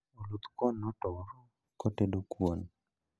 Oluth kuon notur kotedo kuon